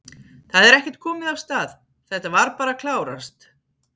Það er ekkert komið af stað, þetta var bara að klárast?